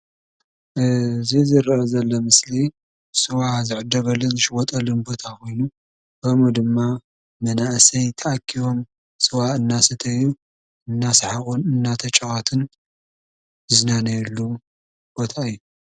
እዚ ዝረኣ ዘሎ ምስሊ ስዋ ዝዕደገሉን ዝሽየጠሉን ቦታ ኮይኑ ከምኡ ድማ መናእስይ ተኣኪቦም ስዋ እናደሰተዩን እንደሳሓቁን እንዳተጫወቱን ዘርእየሉ ቦታ እዩ።